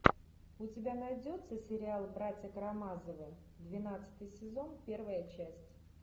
у тебя найдется сериал братья карамазовы двенадцатый сезон первая часть